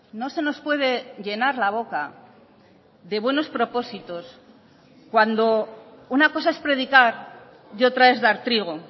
no se nos puede llenar la boca de buenos propósitos cuando una cosa es predicar y otra es dar trigo